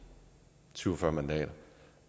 syv og fyrre mandater og